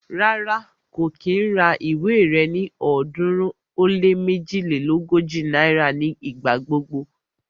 Rárá, kò kí ń ra ìwé rẹ ní ọ̀ọ́dúnrún ó lé méjilélógójì náírà ní ìgbà gbogbo